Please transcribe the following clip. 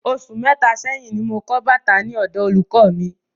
Osù mẹta sẹ́yín ní mo kọ bàtà ní ọ̀dọ olùkọ mí